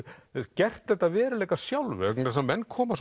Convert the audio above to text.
gert þetta að veruleika sjálfur vegna þess að menn koma